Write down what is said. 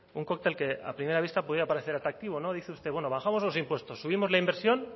un cóctel que a primera vista podría parecer atractivo no dice usted bueno bajamos los impuestos subimos la inversión